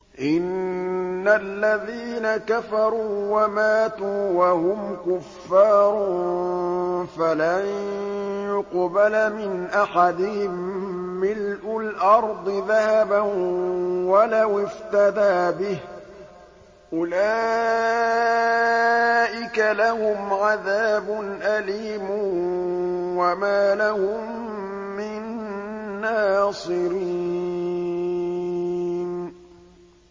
إِنَّ الَّذِينَ كَفَرُوا وَمَاتُوا وَهُمْ كُفَّارٌ فَلَن يُقْبَلَ مِنْ أَحَدِهِم مِّلْءُ الْأَرْضِ ذَهَبًا وَلَوِ افْتَدَىٰ بِهِ ۗ أُولَٰئِكَ لَهُمْ عَذَابٌ أَلِيمٌ وَمَا لَهُم مِّن نَّاصِرِينَ